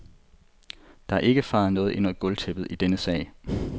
Der er ikke fejet noget ind under gulvtæppet i denne sag.